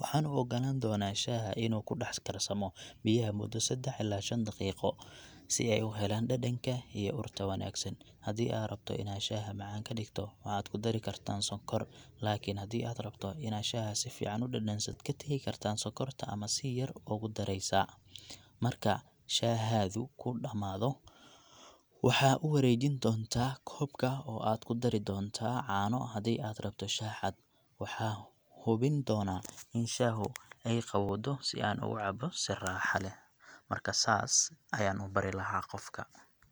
waxaan u oggolaan doonaa shaaha inuu ku dhex karsamo biyaha muddo seddax ilaa shan daqiiqo, si ay u helaan dhadhanka iyo urta wanaagsan. Haddii aad rabto inaad shaaha macaan ka dhigto, waxaad ku dari kartaa sonkor, laakiin haddii aad rabto inaad shaaha si fiican u dhadhansato, waxaad ka tagi kartaa sonkorta ama si yar u dheereysaa. Marka shaahadu ku dhammaado, waxaa u wareejin doontaa koobka oo aad ku dari doonaa caano haddii aad rabto shaah cad. Waxaa hubin doonaa in shaahu ay qabowdo si aan ugu cabbo si raaxa leh. Marka saas ayaan u bari lahaa qofka.